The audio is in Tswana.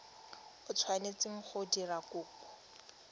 o tshwanetseng go dira kopo